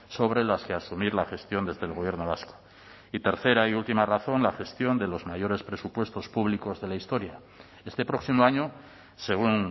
sobre las que asumir la gestión desde el gobierno vasco y tercera y última razón la gestión de los mayores presupuestos públicos de la historia este próximo año según